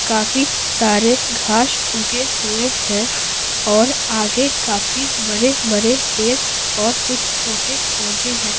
कफिश सारे घास उगे हुए हैं और आगे काफी बड़े बड़े पेर और कुछ छोटे पौधे हैं।